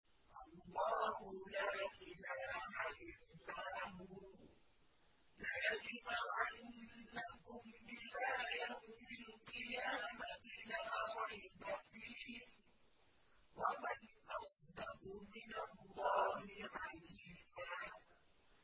اللَّهُ لَا إِلَٰهَ إِلَّا هُوَ ۚ لَيَجْمَعَنَّكُمْ إِلَىٰ يَوْمِ الْقِيَامَةِ لَا رَيْبَ فِيهِ ۗ وَمَنْ أَصْدَقُ مِنَ اللَّهِ حَدِيثًا